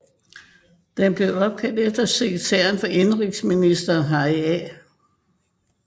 Den blev opkaldt efter sekretæren for indenrigsministeren Harry A